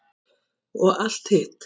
Og allt hitt.